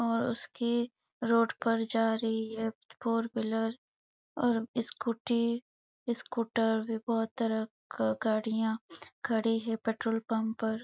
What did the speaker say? और उसके रोड पर जा रही हैं फोर व्हीलर और स्कूटी स्कूटर बहुत तरह का गाड़ी हैं यहाँ खड़ी हैं पेट्रोल पंप पर--